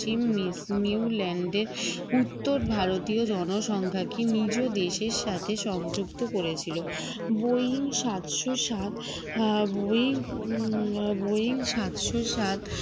Newland এর উত্তর ভারতীয় জনসংখ্যাকে নিজ দেশের সাথে সংযুক্ত করেছিল boying সাতশো সাত আহ boying হম boying সাতশো সাত